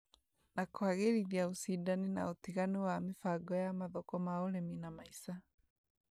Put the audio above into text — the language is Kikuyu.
na kũagĩrithia ũcindani na ũtiganu wa mĩbango ya mathoko ma ũrĩmi na maica.